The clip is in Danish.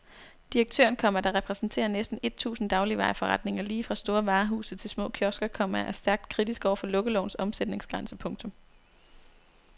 Direktøren, komma der repræsenterer næsten et tusind dagligvareforretninger lige fra store varehuse til små kiosker, komma er stærkt kritisk over for lukkelovens omsætningsgrænse. punktum